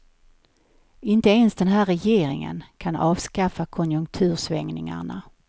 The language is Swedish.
Inte ens den här regeringen kan avskaffa konjunktursvängningarna.